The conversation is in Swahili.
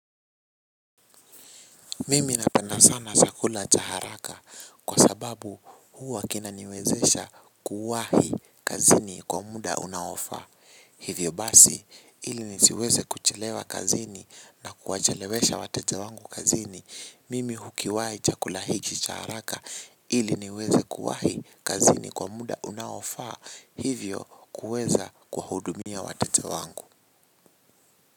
Mimi napenda sana chakula cha haraka kwa sababu huwa kina niwezesha kuwahi kazini kwa muda unaofa. Hivyo basi ili nisiweze kuchelewa kazini na kuwachelewesha wateja wangu kazini. Mimi hukiwai chakula hiki cha haraka ili niweze kuwahi kazini kwa muda unaofa hivyo kuweza kuwa hudumia wateja wangu.